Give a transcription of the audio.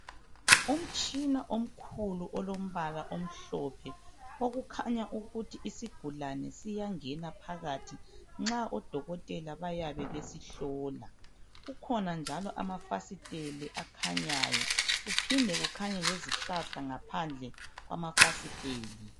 Umtshina omkhulu olombala omhlophe okukhanya ukuthi isigulane siyangena phakathi nxa odokotela bayabe besihlo. Kukhona njalo amafasiteli akhanyayo, kuphinde kukhanye lezihlahla ngaphandle kwamafasiteli.